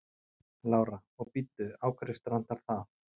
Lára: Og bíddu, á hverju strandar það?